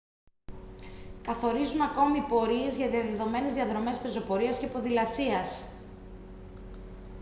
καθορίζουν ακόμη πορείες για διαδεδομένες διαδρομές πεζοπορίας και ποδηλασίας